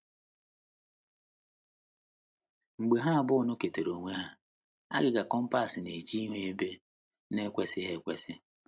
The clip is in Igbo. Mgbe ha abụọ nọketere onwe ha, agịga compass na - eche ihu ebe na - ekwesịghị ekwesị.